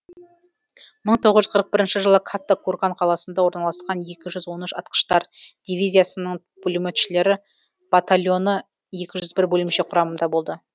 мың тоғыз жүз қырық бірінші жылы катта курган қаласында орналасқан екі жүз он үш атқыштар дивизиясының пулеметшілері батальоны екі жүз бір бөлімше құрамында болды